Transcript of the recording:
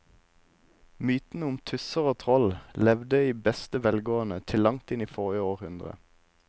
Mytene om tusser og troll levde i beste velgående til langt inn i forrige århundre.